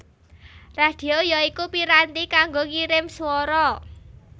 Radhio ya iku piranti kanggo ngirim swara